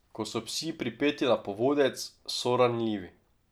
Ko so psi pripeti na povodec, so ranljivi.